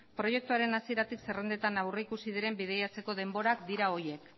proiektuaren hasieratik zerrendetan aurreikusi diren bidaiatzeko denborak dira horiek